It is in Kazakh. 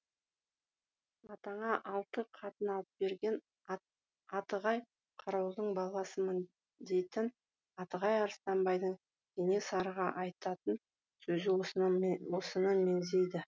атаңа алты қатын алып берген атығай қарауылдың баласымын дейтін атығай арыстанбайдың кенесарыға айтатын сөзі осыны меңзейді